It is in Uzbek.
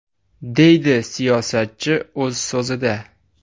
!”, deydi siyosatchi o‘z so‘zida.